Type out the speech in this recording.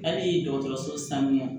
Hali dɔgɔtɔrɔso sanuya